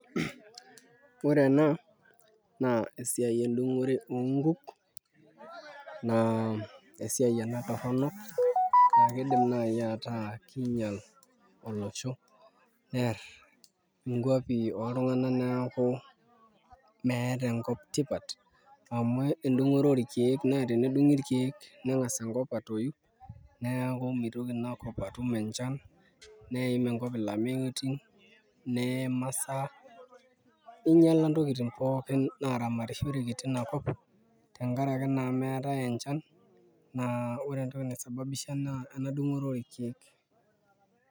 Ore ena naa esiai endung'ore oonkuk naa esiai ena torrono naa kiidim naai ataa kiinyial olosho neerr nkuapi oltung'anak neeku meeta enkop tipat amu endung'oto orkeek naa tenedung'i irkeek neng'as enkop atoyu neeku mitoki ina kop atum enchan netum enkop ilameyutin ninyiala ntokitin pookin naaramatishoreki tina kop tenkaraki naa meetai enchan naa ore entoki naisababisha naa ena dung'oto orkeek.